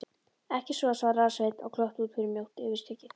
Ekki svo, svaraði Sveinn og glotti út fyrir mjótt yfirskeggið.